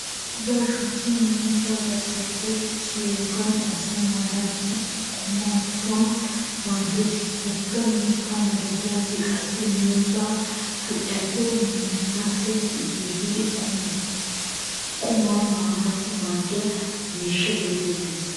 Miizzaa shukkin miizzaa garssappe kiyiyoogan asay maanaassi qumatettawu maaddeees. Wogga mitta malatiyaage qassi miizzaa kaciyappe massetti kiyidi qumaa maanaassi maaddiya miishsha geetettees.